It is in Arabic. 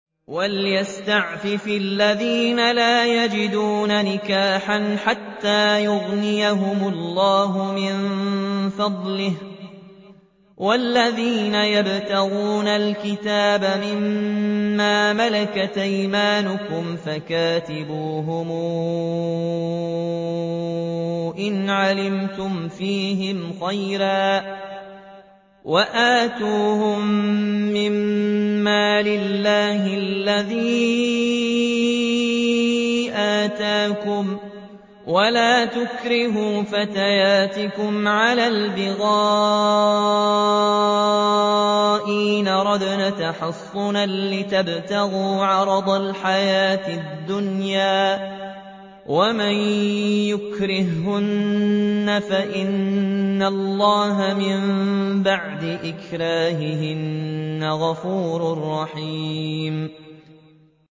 وَلْيَسْتَعْفِفِ الَّذِينَ لَا يَجِدُونَ نِكَاحًا حَتَّىٰ يُغْنِيَهُمُ اللَّهُ مِن فَضْلِهِ ۗ وَالَّذِينَ يَبْتَغُونَ الْكِتَابَ مِمَّا مَلَكَتْ أَيْمَانُكُمْ فَكَاتِبُوهُمْ إِنْ عَلِمْتُمْ فِيهِمْ خَيْرًا ۖ وَآتُوهُم مِّن مَّالِ اللَّهِ الَّذِي آتَاكُمْ ۚ وَلَا تُكْرِهُوا فَتَيَاتِكُمْ عَلَى الْبِغَاءِ إِنْ أَرَدْنَ تَحَصُّنًا لِّتَبْتَغُوا عَرَضَ الْحَيَاةِ الدُّنْيَا ۚ وَمَن يُكْرِههُّنَّ فَإِنَّ اللَّهَ مِن بَعْدِ إِكْرَاهِهِنَّ غَفُورٌ رَّحِيمٌ